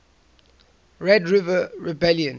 red river rebellion